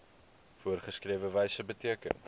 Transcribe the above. voorgeskrewe wyse beteken